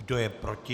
Kdo je proti?